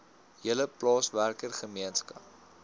hele plaaswerker gemeenskap